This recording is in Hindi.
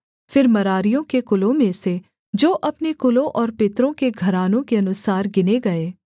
फिर मरारियों के कुलों में से जो अपने कुलों और पितरों के घरानों के अनुसार गिने गए